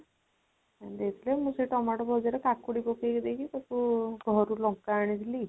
ଦେଇଥିଲେ ମୁଁ ସେଇ ଟମାଟୋ ଭଜା ରେ କାକୁଡି ପକେଇ ଦେଇକି ତାକୁ ଘରୁ ଲଙ୍କା ଆଣିଥିଲି